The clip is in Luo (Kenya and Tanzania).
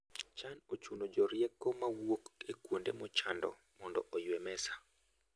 Chan ochuno jorieko mowuok e kuonde mochando mondo oywe mesa.